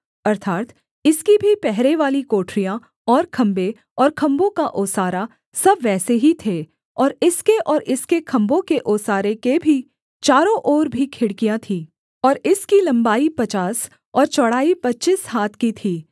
अर्थात् इसकी भी पहरेवाली कोठरियाँ और खम्भे और खम्भों का ओसारा सब वैसे ही थे और इसके और इसके खम्भों के ओसारे के भी चारों ओर भी खिड़कियाँ थीं और इसकी लम्बाई पचास और चौड़ाई पच्चीस हाथ की थी